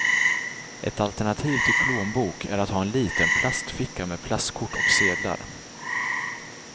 Ett alternativ till plånbok är att ha en liten plastficka med plastkort och sedlar.